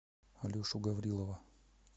алешу гаврилова